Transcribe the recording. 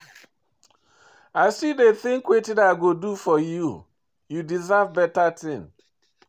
I still dey think wetin I go do for you, you deserve beta thing.